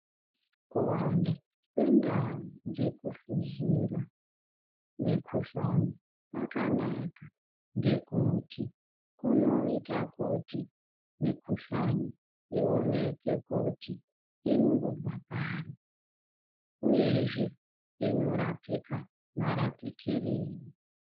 Kuwanda kwendau dzekuhluzira mikhuhlani kwakanaka ngekuti kunoita kuti mikhuhlani ioneke kuti inombobva pari, uyezve inorapika marapikirei.